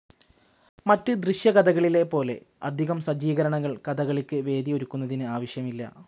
മറ്റ് ദൃശ്യകഥകളിലെ പോലെ അധികം സജ്ജീകരണങ്ങൾ കഥകളിയ്ക്ക് വെന്യൂ ഒരുക്കുന്നതിന് ആവശ്യമില്ല.